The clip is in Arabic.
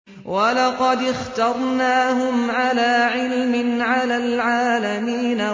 وَلَقَدِ اخْتَرْنَاهُمْ عَلَىٰ عِلْمٍ عَلَى الْعَالَمِينَ